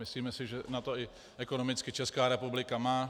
Myslíme si, že na to i ekonomicky Česká republika má.